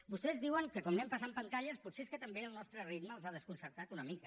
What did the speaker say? vostès diuen que com anem passant pantalles potser és que també el nostre ritme els ha desconcertat una mica